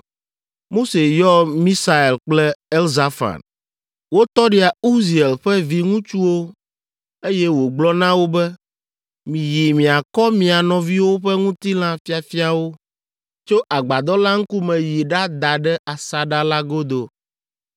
Mose yɔ Misael kple Elzafan, wo tɔɖia Uziel ƒe viŋutsuwo eye wògblɔ na wo be, “Miyi miakɔ mia nɔviwo ƒe ŋutilã fiafiawo tso Agbadɔ la ŋkume yi ɖada ɖe asaɖa la godo.”